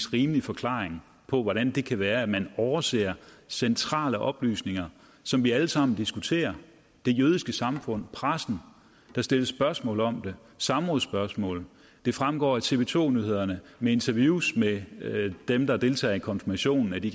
rimelig forklaring på hvordan det kan være at man overser centrale oplysninger som vi alle sammen diskuterer det jødiske samfund pressen der stilles spørgsmål om det samrådsspørgsmål det fremgår af tv to nyhedernes interviews med dem der deltog i konfirmationen at de